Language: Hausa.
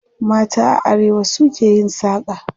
Mata a arewa su ke yin saƙa.